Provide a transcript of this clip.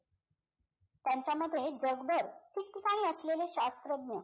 त्यांच्यामध्ये जगभर ठिकठीकाणी असलेले शास्त्रज्ञ